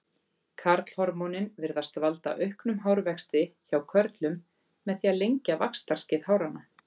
Karlhormónin virðast valda auknum hárvexti hjá körlum með því að lengja vaxtarskeið háranna.